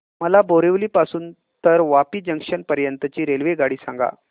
मला बोरिवली पासून तर वापी जंक्शन पर्यंत ची रेल्वेगाडी सांगा